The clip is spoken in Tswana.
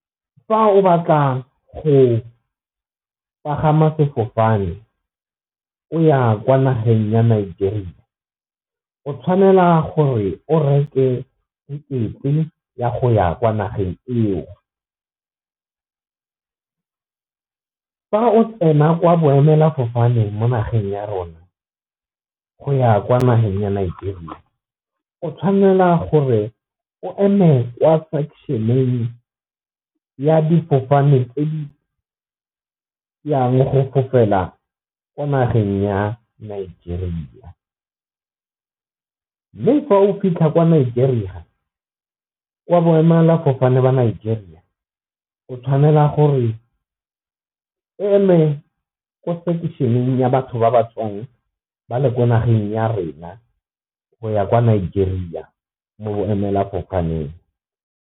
Fa o batla go pagama sefofane o ya kwa nageng ya Nigeria o tshwanela gore o reke tekete ya go ya kwa nageng eo, fa o tsena kwa boemelafofane mo nageng ya rona go ya kwa nageng ya Nigeria o tshwanela gore o eme kwa ya di fofaneng tse di yang go fofela kwa nageng ya Nigeria. Mme fa o fitlha ko Nigeria kwa boemela fofane ba kwa Nigeria o tshwanela gore eme ko section-eng ya batho ba ba tswang ba le kwa nageng ya rena go ya kwa Nigeria mo bo emela fofaneng.